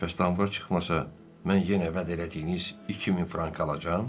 Bəs damğa çıxmasa mən yenə vəd elədiyiniz 2000 frankı alacam?